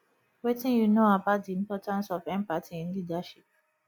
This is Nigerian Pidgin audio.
wetin you know about di importance of empathy in leadership